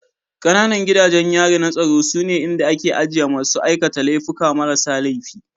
Ƙananan gidajen yari na tsaro sune inda ake ajiye masu aikata laifuka marasa laifi